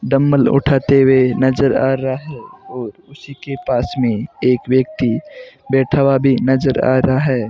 Dumbbell उठाते हुए नजर आ रहा है और उसी के पास में एक व्यक्ति बैठा हुआ भी नजर आ रहा है।